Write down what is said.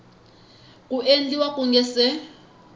ku endliwa ku nga si